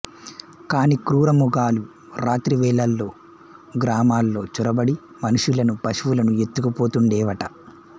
కానీ క్రూరమృగాలు రాత్రి వేళల్లో గ్రామంలో చొరబడి మనుషులను పశువులను ఎత్తుకుపోతుండేవట